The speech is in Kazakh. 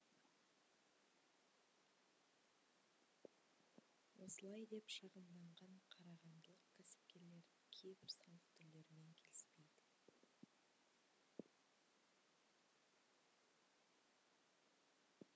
осылай деп шағымданған қарағандылық кәсіпкерлер кейбір салық түрлерімен келіспейді